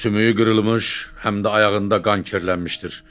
Sümüyü qırılmış, həm də ayağında qan kirlənmişdir.